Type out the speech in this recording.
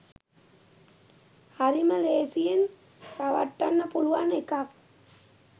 හරිම ලේසියෙන් රවට්ටන්න පුළුවන් එකක්